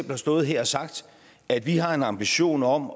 har stået her og sagt at vi har en ambition om